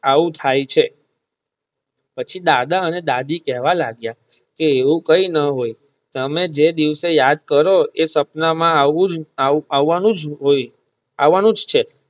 આવું થાય છે પછી દાદા અને દાદી કહેવા લાગીયા એવું કઈ ન હોય તમે જે દિવસે યાદ કરો એ સપના માં આવવા નુજ હોય અને આવવા નું નુજ છે